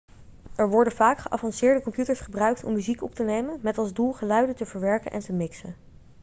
er worden vaak geavanceerde computers gebruikt om muziek op te nemen met als doel geluiden te verwerken en te mixen